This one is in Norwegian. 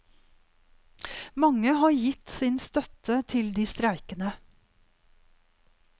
Mange har gitt sin støtte til de streikende.